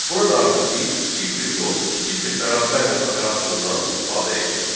Burada artıq biz kiçikdir yox, kiçikdir bərabərdir operatorundan istifadə etdik.